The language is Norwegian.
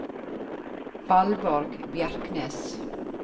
Valborg Bjerknes